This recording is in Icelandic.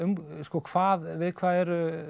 hvað við hvað eru